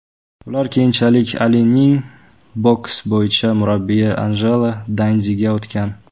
Ular keyinchalik Alining boks bo‘yicha murabbiyi Anjelo Dandiga o‘tgan.